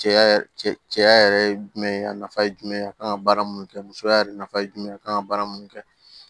Cɛya cɛya yɛrɛ ye jumɛn ye a nafa ye jumɛn ye a kan ka baara mun kɛ musoya yɛrɛ nafa ye jumɛn ye a kan ka baara mun kɛ